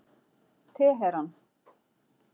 Teheran